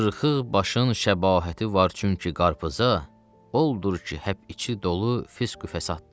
Qırxıq başın şəbahəti var, çünki qarpıza oldur ki, həp içi dolu fısqi fəsaddır.